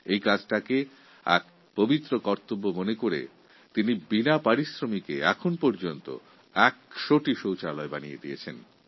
এই কাজকে পবিত্র ভেবে উনি এই পর্যন্ত ভোজপুরা গ্রামে প্রচণ্ড পরিশ্রম করে এখনও পর্যন্ত ১০০টি শৌচালয় নির্মাণ করে ফেলেছেন